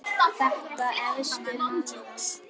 Staða efstu manna